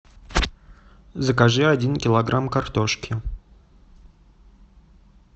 закажи один килограмм картошки